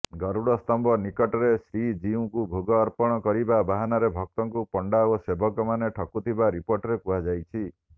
ଗୁରୁଡ଼ସ୍ତମ୍ଭ ନିକଟରେ ଶ୍ରୀଜୀଉଙ୍କୁ ଭୋଗ ଅର୍ପଣ କରିବା ବାହାନାରେ ଭକ୍ତଙ୍କୁ ପଣ୍ଡା ଓ ସେବକମାନେ ଠକୁଥିବା ରିପୋର୍ଟରେ କୁହାଯାଇଛି